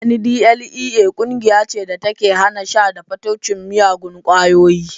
NDLEA ƙungiya ce da take hana sha da fataucin miyagun ƙwayoyi